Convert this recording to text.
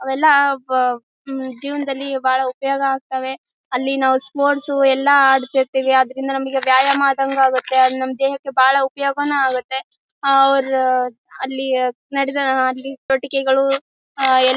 ಅವೆಲ್ಲಾ ಪ ಜೀವನದಲ್ಲಿ ಬಹಳ ಉಪಯೋಗ ಆಗ್ತ್ವ್ ಅಲ್ಲಿ ನಾವು ಸ್ಪೋರ್ಟ್ಸ್ ಎಲ್ಲಾ ಆಡತಿರತ್ತೀವಿ ಆದರಿಂದ ನಮ್ಮಗೆ ವ್ಯಾಯಾಮ ಆದಂಗೂ ಆಗುತ್ತೆ. ನಮ್ಮ ದೇಹಕ್ಕೆ ಬಹಳ ಉಪಯೋಗನು ಆಗುತ್ತೆ ಅವ್ರ ಅಲ್ಲಿ ಆಟಿಕೆಗಳು ಅಹ್ ಎಲ್ಲಾ--